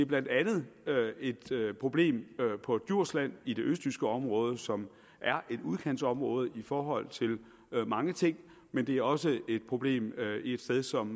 blandt andet et problem på djursland i det østjyske område som er et udkantsområde i forhold til mange ting men det er også et problem et sted som